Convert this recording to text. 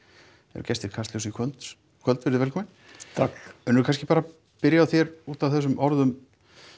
eru gestir Kastljóss í kvöld kvöld verið velkomin takk Unnur kannski bara byrjum á þér út af þessum orðum